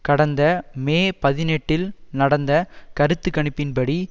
கடந்த மே பதினெட்டில் நடந்த கருத்து கணிப்பின் படி